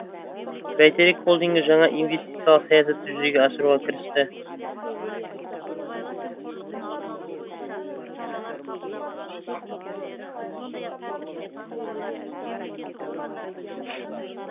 бәйтерек холдингі жаңа инвестициялық саясатты жүзеге асыруға кірісті